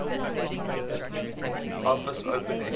office open xml